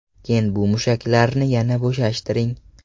Keyin bu mushaklarni yana bo‘shashtiring.